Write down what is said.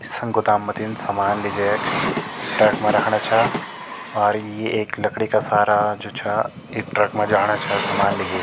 सं गोदाम मथीन सामान लिजेक ट्रक मा रखणा छा और ये एक लकड़ी का सारा जो छा एक ट्रक मा जाणा छा सामान लिगेक।